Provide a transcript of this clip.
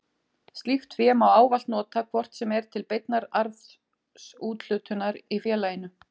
Slíkt fé má ávallt nota hvort sem er til beinnar arðsúthlutunar í félaginu.